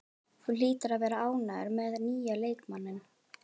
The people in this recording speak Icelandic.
Þú hlýtur að vera ánægður með nýja leikmanninn?